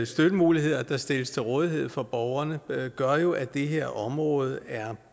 støttemuligheder der stilles til rådighed for borgerne gør jo at det her område er